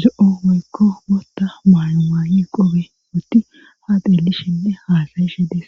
zo7o meykko gootta maayumaayi qobe wutti ha qeelishenne haasayishe dees.